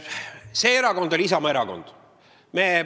See erakond on Isamaa erakond.